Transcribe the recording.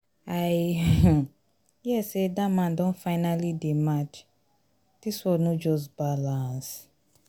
i um hear say dat man don don finally dey mad dis world no just balance